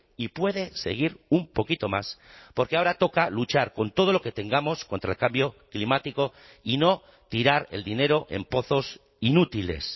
y puede seguir un poquito más porque ahora toca luchar con todo lo que tengamos contra el cambio climático y no tirar el dinero en pozos inútiles